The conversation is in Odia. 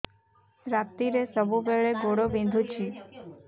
ରାତିରେ ସବୁବେଳେ ଗୋଡ ବିନ୍ଧୁଛି